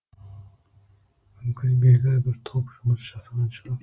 мүмкін белгілі бір топ жұмыс жасаған шығар